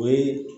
O ye